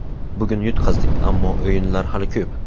Bugun yutqazdik, ammo o‘yinlar hali ko‘p.